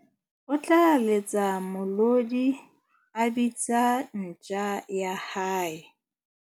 O tla letsa molodi a bitsa ntja ya hae.